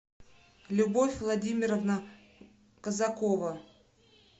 любовь владимировна казакова